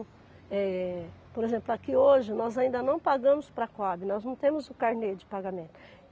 É, por exemplo, aqui hoje, nós ainda não pagamos para a Coabe, nós não temos o carnê de pagamento.